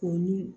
Ko ni